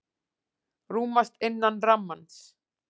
Rúmast innan rammans